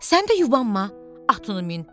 Sən də yubanma, atını min.